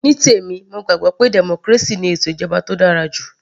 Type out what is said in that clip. Ní tèmi mo gbàgbọ́ pé democracy ni ètò ìjọba tó dára jù